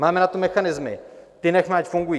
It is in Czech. Máme na to mechanismy, ty nechme, ať fungují.